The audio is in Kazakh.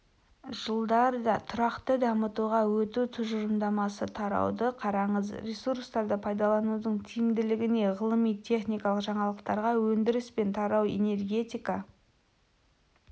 жылдарда тұрақты дамуға өту тұжырымдамасы тарауды қараңыз ресурстарды пайдаланудың тиімділігіне ғылыми-техникалық жаңалықтарға өндіріс пен тарау энергетика